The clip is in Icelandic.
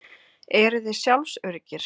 Eruði sjálfsöruggir?